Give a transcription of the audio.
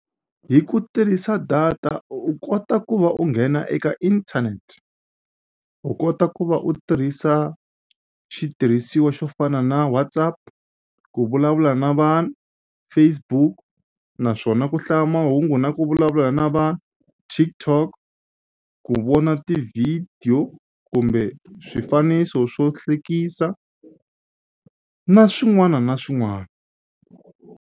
Hi ku tirhisa data u kota ku va u nghena eka internet u kota ku va u tirhisa xitirhisiwa xo fana na WhatsApp ku vulavula na vanhu Facebook naswona ku hlaya mahungu na ku vulavula na va TikTok ku vona tivhidiyo kumbe swifaniso swo hlekisa na swin'wana na swin'wana.